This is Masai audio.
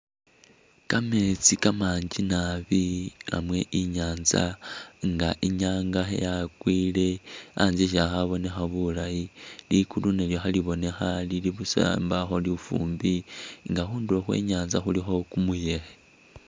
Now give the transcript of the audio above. Kamesti kamanji nabi namwe inyantsa , inga inyanga yakwile antsa si’ali khabonekha bulayi , ligulu nalyo khelibonekha lili busa imbakho lufumbi nga khunduro khwe inyansta khulikho kumuyekhe